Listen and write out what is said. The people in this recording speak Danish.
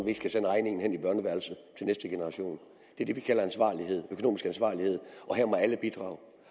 ikke skal sende regningen hen i børneværelset til næste generation det er det vi kalder ansvarlighed og her må alle bidrage